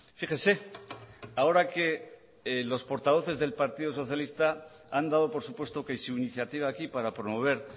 fíjese ahora que los portavoces del partido socialista han dado por supuesto que su iniciativa aquí para promover